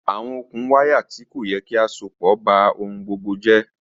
Awọn okùn wàyá tì kọ̀ ti à sọ̀pọ̀ bá ọhun gbogbo jẹ̀.